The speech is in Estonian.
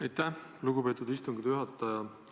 Aitäh, lugupeetud istungi juhataja!